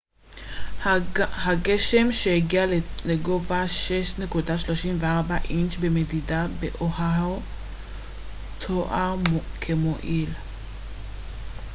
הגשם שהגיע לגובה 6.34 אינץ' במדידה באואהו תואר כ מועיל